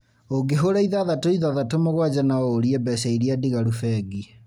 ũngĩhũra ithathatũ ithathatũ mũgwanja no ũũrie mbeca iria ndigaru bengi